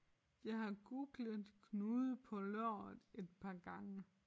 Jeg har googlet knude på låret et par gange